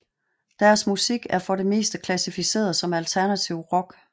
Deres musik er for det meste klassificeret som alternativ rock